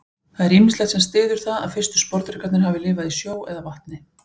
Það er ýmislegt sem styður það að fyrstu sporðdrekarnir hafi lifað í sjó eða vatni.